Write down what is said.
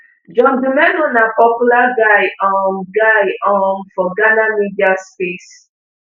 john dumelo na popular guy um guy um for ghana media space